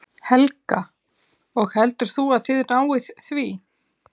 Helga: Og heldur þú að þið náið því?